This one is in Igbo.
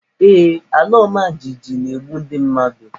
Ee, alaọmajijiji na-egbu ndị mmadụ.